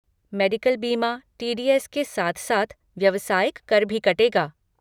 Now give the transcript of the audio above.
Medical बीमा, T D S के साथ साथ व्यवसायिक कर भी कटेगा।